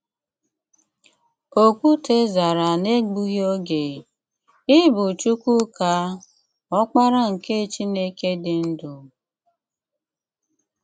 Òkwùté zàrà n’egbùghị ogè: “Ị bụ̀ Chúkwùká, Ọ́kpárá nke Chìnèké dị́ ndú.